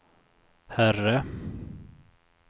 herre